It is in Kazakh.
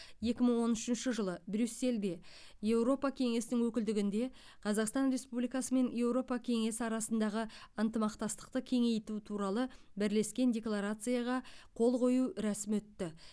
екі мың он үшінші жылы брюссельде еуропа кеңесінің өкілдігінде қазақстан республикасы мен еуропа кеңесі арасындағы ынтымақтастықты кеңейту туралы бірлескен декларацияға қол қою рәсімі өтті